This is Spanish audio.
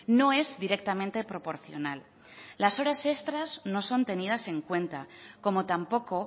no es directamente proporcional las horas extras no son tenidas en cuenta como tampoco